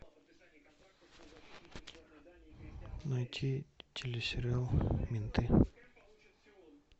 найти телесериал менты